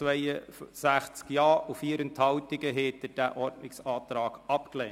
Mit 76 Nein- zu 62 Ja-Stimmen bei 4 Enthaltungen haben Sie diesen Ordnungsantrag abgelehnt.